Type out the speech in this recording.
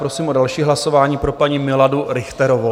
Prosím o další hlasování pro paní Miladu Richterovou.